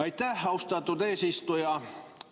Aitäh, austatud eesistuja!